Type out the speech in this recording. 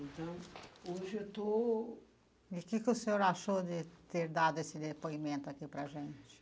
Então, hoje eu estou... E o que que o senhor achou de ter dado esse depoimento aqui para a gente?